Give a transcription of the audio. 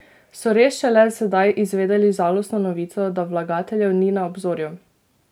So res šele sedaj izvedeli žalostno novico, da vlagateljev ni na obzorju?